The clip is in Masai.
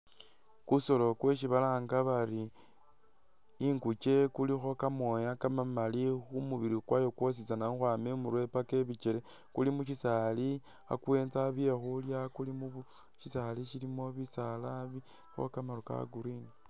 Kusolo kwesi balanga bari inguke kulikho kamooya kamamali khu mubili kwayo kwositsana khukhwama imurwe paka ibikele kuli mu syisaali kha kuwenza bye khulya kuli mu syisaali syilimo bisaala bilikho kamaru ka Green.